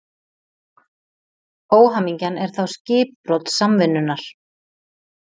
Óhamingjan er þá skipbrot samvinnunnar.